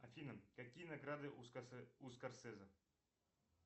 афина какие награды у скорсезе